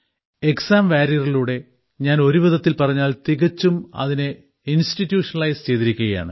exam വാരിയറിലൂടെ ഞാൻ ഒരുവിധത്തിൽ പറഞ്ഞാൽ തികച്ചും അതിനെ ഇൻസ്റ്റിറ്റിയൂഷണലൈസ്ഡ് ചെയ്തിരിക്കുകയാണ്